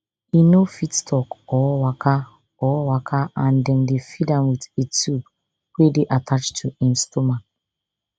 e no fit tok or waka or waka and dem dey feed am with a tube wey dey attached to im stomach